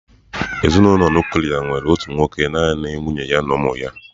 Ezinụlọ nuklia nwere otu nwoke naanị nwunye ya na ụmụ ya.